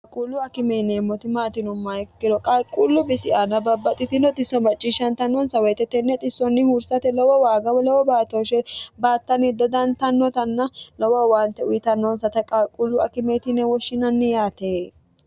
qaaquullu akime yeneemmoti maati yinumoha ikkiro qalquullu bisi aana babbaxxitino xisso macciishshantannonsa woyite tenne xissonni huursate lowo waagawo lowo baatooshe baattanni dodantannotanna lowo owaante uyitannonsata qaaquullu akimeeti yine woshshinanni yaate.